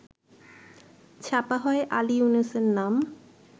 ছাপা হয় আলি ইউনূসের নাম